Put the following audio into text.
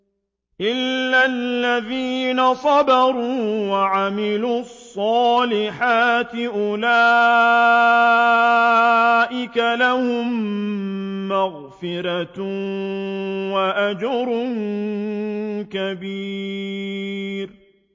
إِلَّا الَّذِينَ صَبَرُوا وَعَمِلُوا الصَّالِحَاتِ أُولَٰئِكَ لَهُم مَّغْفِرَةٌ وَأَجْرٌ كَبِيرٌ